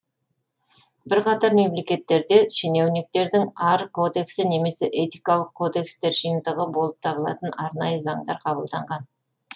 бірқатар мемлекеттерде шенеуніктердің ар кодексі немесе этикалық кодекстер жиынтығы болып табылатын арнайы заңдар қабылданған